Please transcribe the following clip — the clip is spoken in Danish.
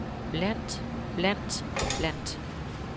blandt blandt blandt